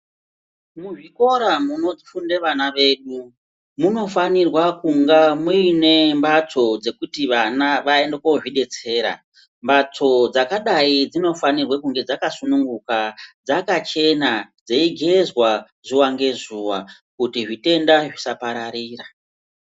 Muzvikora munofunde vana vedu, munofanirwa kunga muine mbatso dzekuti vana vaende kozvidetsera. Mbatso dzakadai dzinofanirwe kunge dzakasununguka, dzakachena, dzeigezwa ,zuwa ngezuwa, kuti zvitenda zvisapararira.